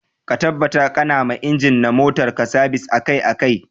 Ka tabbata ƙana ma inji na motar ka sabis akai akai.